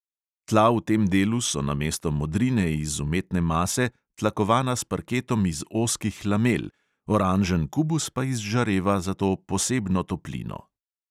Tla v tem delu so namesto modrine iz umetne mase tlakovana s parketom iz ozkih lamel, oranžen kubus pa izžareva zato posebno toplino.